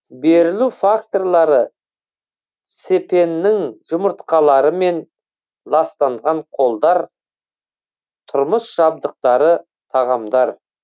берілу факторлары цепеннің жұмыртқаларымен ластанған қолдар тұрмыс жабдықтары тағамдар